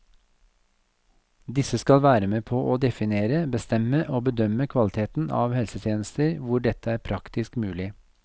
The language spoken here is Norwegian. Disse skal være med på å definere, bestemme og bedømme kvaliteten av helsetjenester hvor dette er praktisk mulig.